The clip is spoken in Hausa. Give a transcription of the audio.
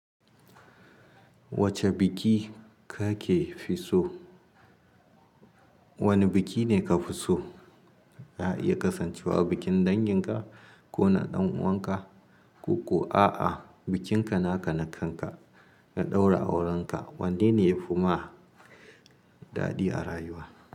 Wace biki kake fi so? Wane biki ne ka fi so? Ya iya kasancewa bikin danginka ko na ɗan'uwanka. Koko a'a, bikinka naka na kanka, ka ɗaura aurenka. Wanne ne ya fi ma daɗi a rayuwa?